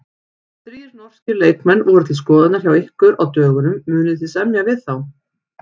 Þrír norskir leikmenn voru til skoðunar hjá ykkur á dögunum, munið þið semja við þá?